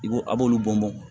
I b'o a b'olu bɔn bɔn